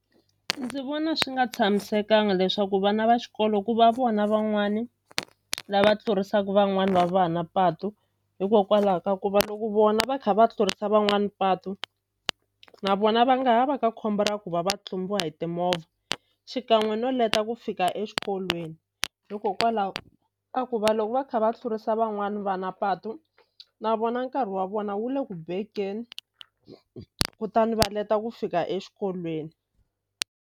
Ndzi vona swi nga tshamisekanga leswaku vana va xikolo ku va vona van'wani lava tlurisaku van'wani va vana patu hikokwalaho ka ku va loko vona va kha va tlurisa van'wani patu na vona va nga ha va ka khombo ra ku va va tlumbiwa hi timovha xikan'we no leta ku fika exikolweni hikokwalaho ka ku va loko va kha va tlurisa van'wani va na patu na vona nkarhi wa vona wu le ku bekeni kutani va leta ku fika exikolweni.